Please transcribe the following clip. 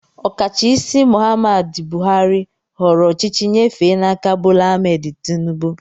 Okachaisi Mohammed Buhari họọrọ ochichi nyefe n'áká Bola Ahmed Tinibu